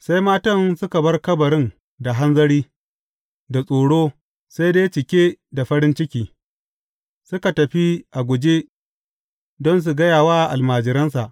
Sai matan suka bar kabarin da hanzari, da tsoro, sai dai cike da farin ciki, suka tafi a guje don su gaya wa almajiransa.